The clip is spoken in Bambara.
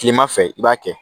Kilema fɛ i b'a kɛ